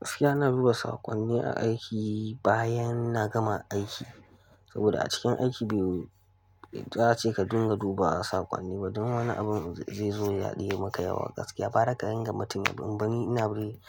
Gaskiya, ina duba saƙonni a aiki bayan na gama aiki. Saboda a cikin aiki bai, za a ce ka dinga duba saƙonni ba don wani abin zai zo ya haɗe yayi maka yawa gaskiya. Kwara ka din ga mutum ya bari ina biri